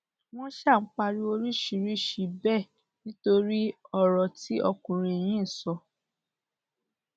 wọn ṣáà ń pariwo oríṣiríṣiì bẹẹ nítorí ọrọ tí ọkùnrin yìí sọ